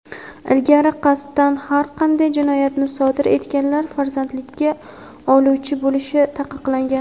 Ilgari qasddan har qanday jinoyatni sodir etganlar farzandlikka oluvchi bo‘lishi taqiqlangan.